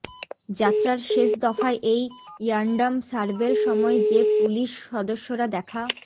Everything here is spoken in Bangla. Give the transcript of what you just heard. যাত্রার শেষ দফায় এই র্যান্ডম সার্বের সময় যে পুলিশ সদস্যরা দেখা